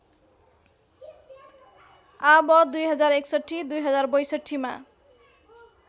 आव २०६१ २०६२ मा